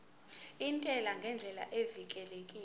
intela ngendlela evikelekile